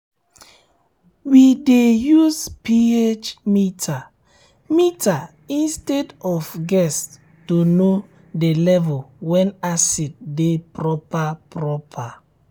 we dey use ph meter meter instead of guess to know the um level wen acid de proper um proper um